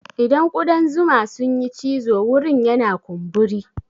Idan kuɗan zuma sun yi cizo wurin yana kumburi.